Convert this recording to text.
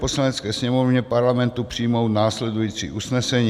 Poslanecké sněmovně Parlamentu přijmout následující usnesení: